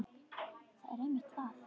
Það er einmitt það.